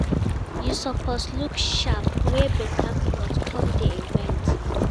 you suppose look sharp, wear better cloth come di event